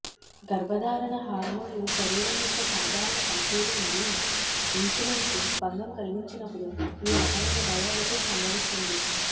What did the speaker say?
గర్భధారణ హార్మోన్లు శరీరం యొక్క సాధారణ పనితీరు మరియు ఇన్సులిన్కు భంగం కలిగించినప్పుడు ఈ రకమైన డయాబెటిస్ సంభవిస్తుంది